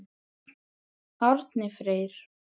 Árni Freyr.